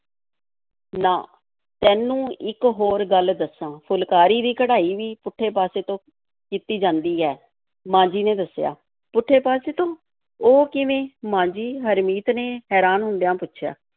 ਨਾ, ਤੈਨੂੰ ਇੱਕ ਹੋਰ ਗੱਲ ਦੱਸਾਂ, ਫੁਲਕਾਰੀ ਦੀ ਕਢਾਈ ਵੀ ਪੁੱਠੇ ਪਾਸੇ ਤੋਂ ਕੀਤੀ ਜਾਂਦੀ ਹੈ, ਮਾਂ ਜੀ ਨੇ ਦੱਸਿਆ, ਪੁੱਠੇ ਪਾਸੇ ਤੋਂ, ਉਹ ਕਿਵੇਂ, ਮਾਂ ਜੀ? ਹਰਮੀਤ ਨੇ ਹੈਰਾਨ ਹੁੰਦਿਆਂ ਪੁੱਛਿਆ।